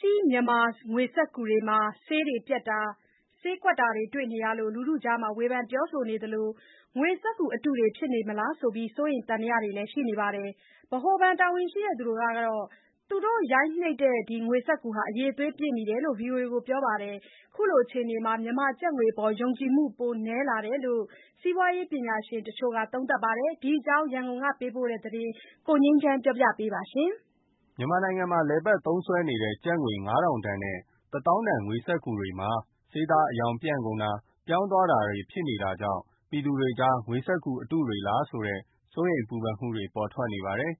ကြီး မြန်မာငွေစက္ကူတွေမှာ ဆေးပျက်တာ၊ ဆေးကွက်တာတွေ တွေ့နေရလို့ လူထုကြားမှာ ဝေဖန်ပြောဆိုနေသလို ငွေစက္ကူအတုတွေ ဖြစ်နေလားဆိုတဲ့ စိုးရိမ်သံသယတွေလည်း ရှိနေကြပါတယ်။ ဗဟိုဘဏ်တာဝန်ရှိသူကတော့ သူတို့ရိုက်နှိပ်တဲ့ ငွေစက္ကူတွေရဲ့ အရည်အသွေး ပြည့်မီတယ်လို့ ဗွီအိုအေကို ပြောပါတယ်။ ခုလိုအခြေအနေမှာ မြန်မာကျပ်ငွေအပေါ် ယုံကြည်မှု ပိုနည်းလာတယ်လို့ စီးပွားရေးပညာရှင်တချို့က သုံးသပ်ပါတယ်။ ဒီအကြောင်း ရန်ကုန်ကပေးပို့တဲ့သတင်းကို ကိုငြိမ်းချမ်းက ပြောပြပါမယ်။ မြန်မာနိုင်ငံမှာ လည်ပတ်သုံးစွဲနေတဲ့ ကျပ်ငွေ ၅,၀၀၀ နဲ့ ကျပ်ငွေ ၁၀,၀၀၀ တန် ငွေစက္ကူသစ်တွေ ဆေးသားအရောင်ပြန့်ကုန်တာ၊ ပြောင်းသွားတာမျိုးတွေ ဖြစ်နေတာကြောင့် ပြည်သူတွေကြား ငွေစက္ကူအတုတွေလားဆိုတဲ့ စိုးရိမ်ပူပန်မှုတွေ ပေါ်ထွက်နေပါ တယ်။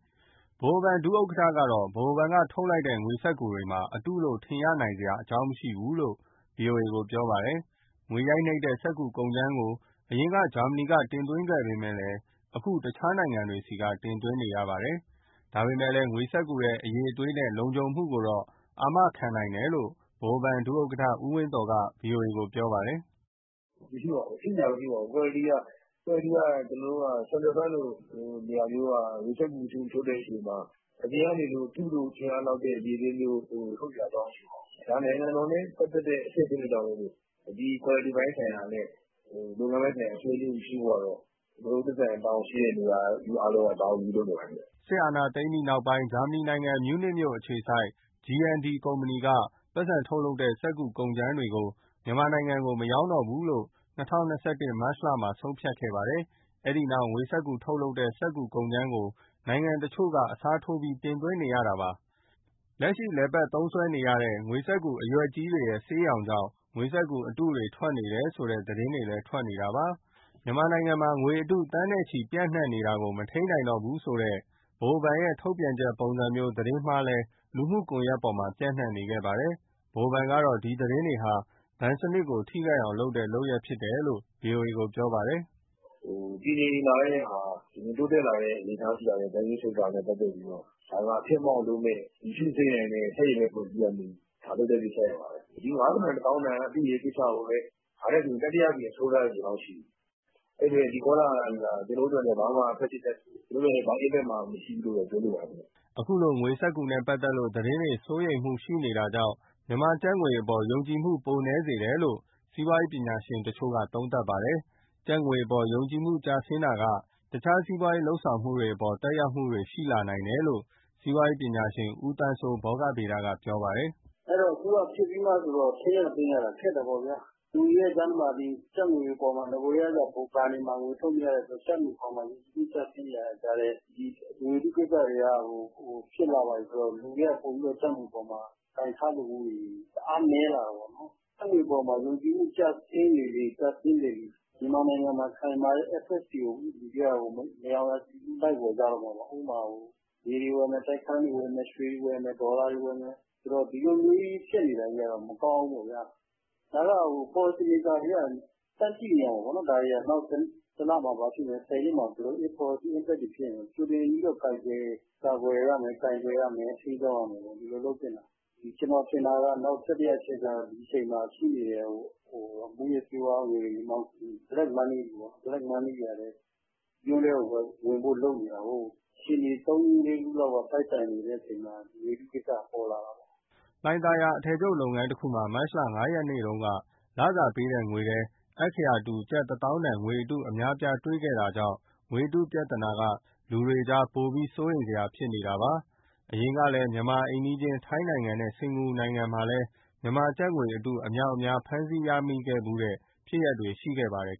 ဗဟိုဘဏ် ဒုဥက္ကဋ္ဌကတော့ ဗဟိုဘဏ်ကထုတ်လိုက်တဲ့ ငွေစက္ကူတွေမှာ အတုလို့ ထင်ရနိုင်စရာ အကြောင်းမရှိဘူးလို့ ဗွီအိုအေ ကိုပြောပါတယ်။ ငွေရိုက်နှိပ်တဲ့ စက္ကူကုန်ကြမ်းကို အရင်က ဂျာမနီက တင်သွင်းပေမဲ့ အခု တခြားနိုင်ငံတွေဆီက တင်သွင်းနေရပါတယ်။ ဒါပေမဲ့ ငွေစက္ကူရဲ့ အရည်အသွေးနဲ့ လုံခြုံမှုကိုတော့ အာမခံနိုင်တယ်လို့ ဗဟိုဘဏ် ဒုဥက္ကဋ္ဌ ဦးဝင်းသော်က ဗွီအိုအေကို ပြောပါတယ်။ “မရှိပါဘူး၊ ဖြစ်စရာမရှိပါဘူး၊ ကွာလတီက Central Bank လိုနေရာမျိုးက ငွေစက္ကူထုတ်တဲ့အချိန်မှာ အပြင်ကနေ အတုလို့ ထင်ရ လောက်တဲ့ အရည်အသွေးမျိုး ထုတ်စရာမရှိပါဘူး။ ဒါနိုင်ငံတော်နဲ့ပတ်သက်တဲ့အဆင့ ်ဖြစ်တဲ့အတွက်ကြောင့်မို့ ဒီကွာလတီပိုင်း ဆိုင်ရာနဲ့ လုပ်ငန်းပိုင်းဆိုင်ရာ လုံခြုံမှုရှိဖို့ကတော့ ကျနော်တို့ သက်ဆိုင်ရာ တာဝန်ယူမှုရှိတဲ့နေရာက တာဝန်ယူပြီးလုပ်နေပါတယ်။” စစ်အာဏာသိမ်းပြီးနောက်ပိုင်း ဂျာမနီနိုင်ငံ မြူးနစ်အခြေစိုက် G&D ကုမ္ပဏီက ပိုက်ဆံထုတ်လုပ်တဲ့ စက္ကူကုန်ကြမ်းတွေကို မြန်မာနိုင်ငံကို မရောင်းချတော့ဘူးလို့ ၂၀၂၁ မတ်လမှာ ဆုံးဖြတ်ခဲ့ပါတယ်။ အဲဒီနောက် ငွေစက္ကူထုတ်လုပ်တဲ့ စက္ကူကုန်ကြမ်းကို နိုင်ငံတချို့ဆီကနေ အစားထိုးပြီး တင်သွင်းနေရတာပါ။ လက်ရှိ လည်ပတ်သုံးစွဲနေတဲ့ ငွေစက္ကူ အရွက်ကြီးတွေရဲ့ ဆေးရောင်ကြောင့် ငွေစက္ကူအတုတွေ ထွက်နေတယ်ဆိုတဲ့ သတင်း တွေလည်း ထွက်ပေါ်နေပါတယ်။ မြန်မာနိုင်ငံမှာ ငွေအတု သန်းနဲ့ချီပြီး ပြန့်နှံ့နေတာကို မထိန်းနိုင်တော့ဘူးဆိုတဲ့ ဗဟိုဘဏ်ရဲ့ ထုတ်ပြန်ချက်ပုံစံမျိုး သတင်းမှားလည်း လူမှုကွန်ယက်ပေါ်မှာ ပျံ့နှံ့ခဲ့ပါတယ်။ ဗဟိုဘဏ်ကတော့ ဒီသတင်းတွေဟာ ဘဏ်စနစ်ကို ထိခိုက်အောင်လုပ်တဲ့ လုပ်ရပ်ဖြစ်တယ်လို့ ဗွီအိုအေကို ပြောပါတယ်။ “တည်ငြိမ်လာတဲ့ဟာ တိုးတက်လာတဲ့ Banking sector နဲ့ပတ်သက်ပြီး အဖျက်အမှောင့်လုပ်တဲ့ မရှုစိမ့်နိုင်တဲ့ ဆန့်ကျင်ဘက် အဖွဲ့အစည်းကလုပ်တဲ့ ကိစ္စရပ်ပါပဲ။ ဒီ ၅,၀၀၀ တန် ၁၀,၀၀၀ တန်ကိစ္စတွေကိုပဲ ဒါနဲ့ဆို တတိယအကြိမ် စတုထ္ထအကြိမ် လောက်ရှိပြီ အဲဒီအတွက် ဒီကောလာဟလတွေဟာ ကျနော်တို့အတွက် ဘာမှ Impact မရှိဘူးလို့ပဲ ပြောချင်ပါတယ်။” အခုလို ငွေစက္ကူနဲ့ပတ်သက်လို့ သတင်းတွေ စိုးရိမ်မှုတွေရှိနေတာကြောင့် မြန်မာကျပ်ငွေအပေါ် ယုံကြည်မှု ပိုနည်းစေတယ်လို့ စီးပွားရေးပညာရှင်တချို့က သုံးသပ်ပါတယ်။ ကျပ်ငွေအပေါ်မှာ ယုံကြည်မှုကျဆင်းတာက တခြား စီးပွားရေး လုပ်ဆောင်မှုတွေ အပေါ်မှာ သက်ရောက်မှုတွေ ရှိလာနိုင်တယ်လို့ စီးပွားရေးပညာရှင် ဦးသန်းစိုး (ဘောဂဗေဒ) က ပြောပါတယ်။ “အခုဖြစ်ပြီးမှဆိုတော့ ထိန်းရသိမ်းရတာ ခက်တယ်ပေါ့ဗျာ။ လူတွေရဲ့ကြားထဲမှာ နဂိုကတည်းကမှ ဘဏ်တွေမှာ ငွေထုတ်မရ ကျပ်ငွေအပေါ်မှာ ယုံကြည်မှု ကျဆင်းနေရတဲ့ကြားထဲ ဒီငွေအတုကိစ္စတွေက ဖြစ်လာပြီဆိုတော့ လူတွေက ပိုပြီးကျပ်ငွေအပေါ်မှာ ကိုင်ထားလိုမှုတွေ တအားနည်းလာတာပေါ့နော်။ ကျပ်ငွေအပေါ်မှာ ယုံကြည်မှု ကျဆင်းလေလေ မြန်မာနိုင်ငံမှာ ခိုင်မာတဲ့ Assets တွေကို မရောင်ရာဆီလူး လိုက်ဝယ်ကြတော့မှာပေါ့။ ဥပမာ မြေတွေဝယ်မယ်၊ တိုက်ခန်းတွေဝယ်မယ်၊ ရွှေတွေဝယ်မယ်၊ ဒေါ်လာ တွေ ဝယ်မယ် ဆိုတော့ ဒီလိုမျိုးကြီး ဖြစ်နေတာကြီးကတော့ မကောင်းဘူးပေါ့ဗျာ။ ဒါတွေက Policy maker တွေက တန်းသိနေရ မှာပေါ့၊ ဘယ်လို Impact တွေဖြစ်မယ် ကြိုတင်ကာကွယ်ရမယ်၊ ကိုင်တွယ်ရမယ်၊ ထိန်းကြောင်းရမယ်ပေါ့။ ကျနော်ထင်တာက နောက်တတိယအချက်က မူးယစ်ဆေးဝါးငွေတွေကလည်း မြို့ထဲကို ဝင်ဖို့လုပ်နေတာကိုး အခြေအနေတွေ သုံးလေးခုလောက် တိုက်ဆိုင်နေတဲ့အချိန်မှာ ဒီငွေအတုကိစ္စက ပေါ်လာတာကိုး။” လှိုင်သာယာက အထည်ချုပ်လုပ်ငန်းတခုမှာ မတ်လ ၅ ရက်နေ့တုန်းက လစာပေးတဲ့ငွေထဲ အက္ခရာတူ ကျပ်တသောင်းတန် ငွေအတု အများအပြား တွေ့ခဲ့တာကြောင့် ငွေအတုပြဿနာက လူတွေကြားထဲမှာ ပိုပြီး စိုးရိမ်စရာဖြစ်နေကြတာပါ။ အရင်ကလည်း မြန်မာ့အိမ်နီးချင်း ထိုင်းနိုင်ငံနဲ့ စင်္ကာပူနိုင်ငံတို့မှာ မြန်မာကျပ်ငွေအတု အမြောက်အများ ဖမ်းဆီးမိတဲ့ဖြစ်ရပ်တွေ ရှိခဲ့ဖူးပါတယ်